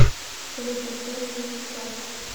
салют поставь линкин парк